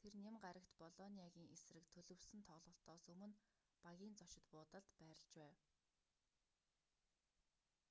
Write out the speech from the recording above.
тэр ням гарагт болониагийн эсрэг төлөвлөсөн тоглолтоос өмнө багийн зочид буудалд байрлаж байв